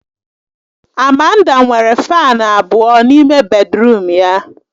Amanda nwere Fani abụọ n'ime bèdrụm ya